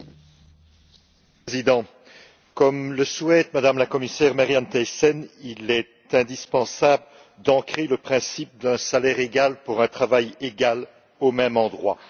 Monsieur le Président, comme le souhaite Mme la commissaire, Marianne Thyssen, il est indispensable d'ancrer le principe d'un salaire égal pour un travail égal au même endroit.